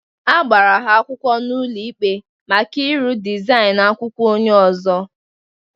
A gbara ha akwụkwọ n'ụlọ ikpe maka ịrụ dịzainu akwụkwọ onye ozo